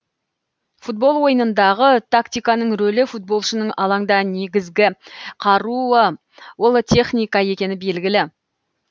футбол ойынындағы тактиканың рөлі футболшының алаңда негізгі қаруы ол техника екені белгілі